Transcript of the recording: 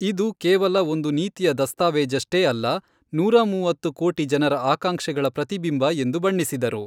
ಇದು ಕೇವಲ ಒಂದು ನೀತಿಯ ದಸ್ತಾವೇಜಷ್ಟೇ ಅಲ್ಲ, ನೂರಾ ಮೂವತ್ತು ಕೋಟಿ ಜನರ ಆಕಾಂಕ್ಷೆಗಳ ಪ್ರತಿಬಿಂಬ ಎಂದು ಬಣ್ಣಿಸಿದರು.